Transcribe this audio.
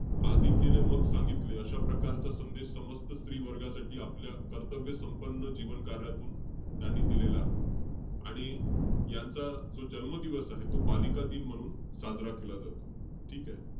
आधी केले मग सांगितले, अशा प्रकारचा संदेश, समस्त स्त्री वर्गासाठी आपल्या कर्तव्य-संपन्न जीवनकार्यातून त्यांनी दिलेला आहे. आणि यांचा जो जन्म दिवस आहे, तो बालिकादिन म्हणून साजरा केला जातो. ठीकेय?